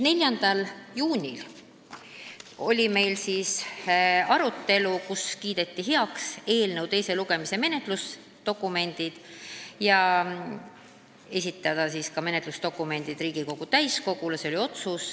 4. juunil oli meil arutelu, kus kiideti heaks eelnõu teise lugemise menetlusdokumendid ja otsustati need esitada ka Riigikogu täiskogule.